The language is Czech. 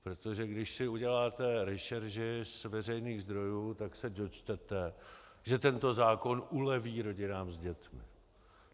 Protože když si uděláte rešerši z veřejných zdrojů, tak se dočtete, že tento zákon uleví rodinám s dětmi.